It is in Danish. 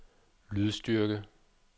lydstyrke